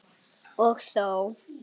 Og þó.